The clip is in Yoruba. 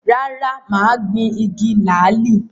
Rárá, mà á gbin “igi làálì”.